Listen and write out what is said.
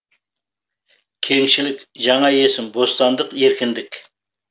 кеңшілік жаңа есім бостандық еркіндік